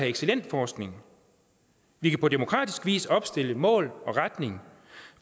excellent forskning vi kan på demokratisk vis opstille et mål og en retning